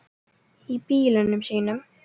Í bílunum sínum.